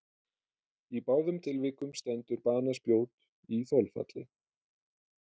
Í báðum tilvikum stendur banaspjót í þolfalli.